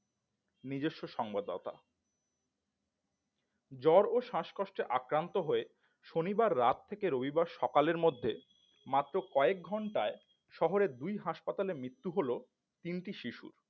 নিজস্ব সংবদতা জ্বর ও শ্বাসকষ্টে আক্রান্ত হয়ে শনিবার রাত থেকে রবিবার সকালের মধ্যে মাত্র কয়েক ঘণ্টায় শহরের দুই হাসপাতালে মৃত্যু হল তিনটি শিশুর